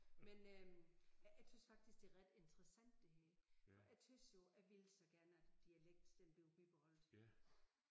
Men øh jeg tys faktisk det ret interessant det her. For jeg tys jo jeg vil så gerne at dialekten den bliver bibeholdt